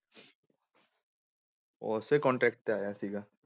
ਉਹ ਉਸੇ contact ਤੇ ਆਇਆ ਸੀਗਾ।